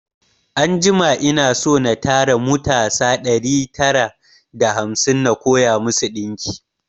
Anjima ina so na tara mutasa ɗari tara da hamsin na koya masu ɗinki